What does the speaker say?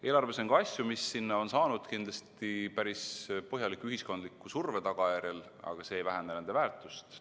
Eelarves on ka asju, mis sinna on saanud kindlasti päris põhjaliku ühiskondliku surve tagajärjel, aga see ei vähenda nende väärtust.